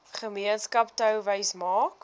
gemeenskap touwys maak